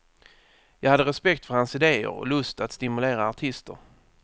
Jag hade respekt för hans idéer och lust att stimulera artister.